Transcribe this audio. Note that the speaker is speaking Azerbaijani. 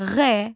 Ğ.